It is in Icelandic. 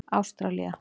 Ástralía